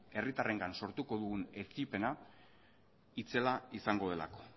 herritarrengan sortuko dugun etsipena itzela izango delako